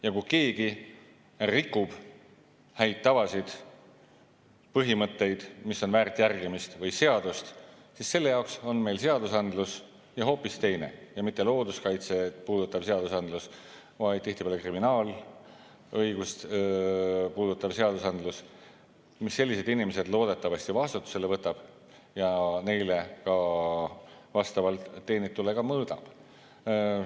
Ja kui keegi rikub häid tavasid, põhimõtteid, mis on väärt järgimist, või seadust, siis selle jaoks on meil seadusandlus – ja hoopis teine, mitte looduskaitset reguleeriv seadusandlus, vaid tihtipeale kriminaalõigust puudutav seadusandlus, mille alusel sellised inimesed loodetavasti vastutusele võetakse ja neile ka vastavalt teenitule mõõdetakse.